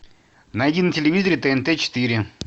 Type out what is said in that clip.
найди на телевизоре тнт четыре